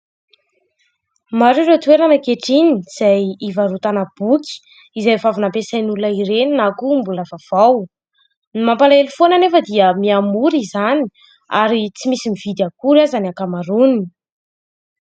Maro ireo toerana ankehitriny izay hivarotana boky izay efa Avy nampesain'ny olona ireny na koa mbola vaovao. Ny mampalahelo anefa dia miha-mora izany ankehitriny ary tsy misy mividy akory aza ny ankamaroany.